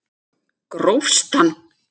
Grófst hann!